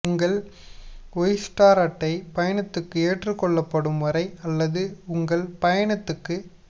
உங்கள் ஒய்ஸ்டர் அட்டை பயணத்துக்கு ஏற்றுக்கொள்ளப்படும் வரை அல்லது உங்கள் பயணத்துக்கு